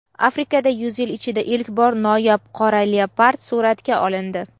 Afrikada yuz yil ichida ilk bor noyob qora leopard suratga olindi.